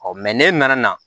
n'e nana